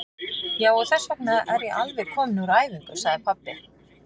Já, og þessvegna er ég alveg kominn úr æfingu, sagði pabbi.